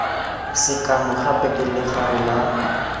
sekano gape ke legare la